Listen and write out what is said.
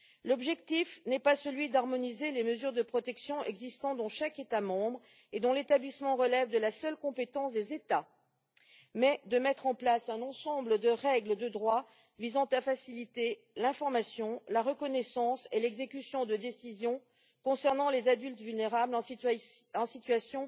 L'objectif n'est pas d'harmoniser les mesures de protection existantes dans chaque État membre, dont l'établissement relève de la seule compétence des États, mais de mettre en place un ensemble de règles de droit visant à faciliter l'information, la reconnaissance et l'exécution de décisions concernant les adultes vulnérables en situation